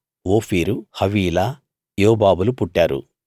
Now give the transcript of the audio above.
ఓఫీరు హవీలా యోబాబులు పుట్టారు